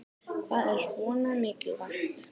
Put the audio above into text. Hvað er svona mikilvægt